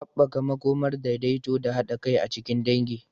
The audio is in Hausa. Haɓaka makomar daidaito da haɗa kai a cikin dangi.